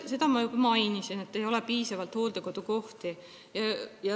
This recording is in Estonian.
Seda ma juba mainisin, et ei ole piisavalt hooldekodukohti.